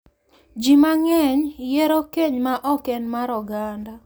ji mang’eny yiero keny ma ok en mar oganda,